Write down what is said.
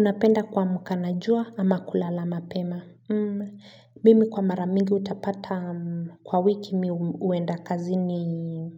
Napenda kuamka na jua ama kulala mapema mimi kwa mara mingi utapata kwa wiki mimi huenda kazini